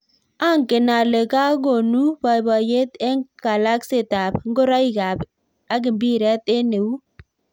Angen ale kaakonu boiboyet eng kalakset ab ngoroik ak mbiret eng eut